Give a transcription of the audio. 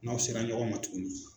N'aw sera ɲɔgɔn ma tuguni.